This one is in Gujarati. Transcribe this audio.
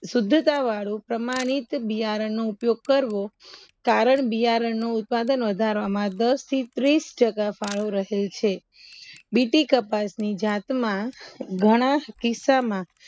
સુદ્ધતા વાળું પ્રમાણિત બિયારણનું ઉપયોગ કરવો કારણ બિયારણ નુ ઉત્પાદન વધારવામાં દસ થી ત્રીસ ટકા ફાળો રહેલ છે બીટી કપાસની જાતમાં ઘણા કિસ્સા માં